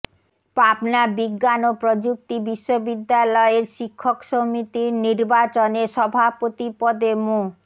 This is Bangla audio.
পাবনা বিজ্ঞান ও প্রযুক্তি বিশ্ববিদ্যালয়ের শিক্ষক সমিতির নির্বাচনে সভাপতি পদে মো